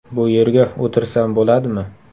Bu yerga o‘tirsam bo‘ladimi?”.